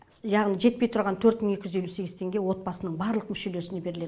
яғни жетпей тұрған төрт мың екі жүз елу сегіз теңге отбасының барлық мүшелесіне беріледі